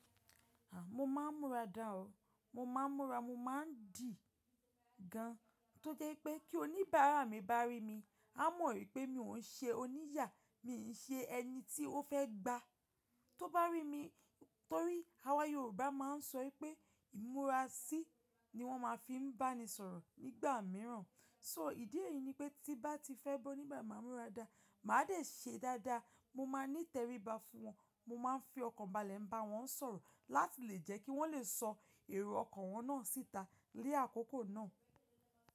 À, mo máa ń múra dá ọ, mo máa ń múra, mo máa ń dì gán. Tó jé pé kí oníbàárà mi bá rí mi, á mọ̀ wípé mi òun ṣe oníyà, mi ò ṣe ẹni tí ó fẹ́ gba. Tó bá rí mi, torí àwa Yorùbá máa ń sọ wípé ìmúra sí ni wón máa ń fi bá ni sọ̀rọ̀ nígbà mìíràn. So ìdí èyí ni pé tí bá ti fẹ́ bọ́ nígbà máa ń múra dáa, màá dẹ̀ ṣe dáadáa. Mo máa ní tẹríba fún wọn, mo máa ń fi ọkàn balẹ̀ bá wọn sọ̀rọ̀ láti lè jẹ́ kí wọ́n lè sọ èrò ọkọ̀ wọn náà síta ni àkókò náà.